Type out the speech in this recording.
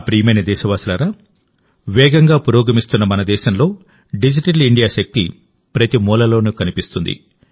నా ప్రియమైన దేశవాసులారా వేగంగా పురోగమిస్తున్న మన దేశంలోడిజిటల్ ఇండియా శక్తి ప్రతి మూలలోనూ కనిపిస్తుంది